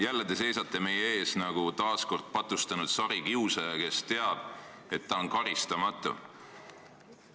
Jälle te seisate meie ees nagu patustanud sarikiusaja, kes teab, et ta on karistamatu.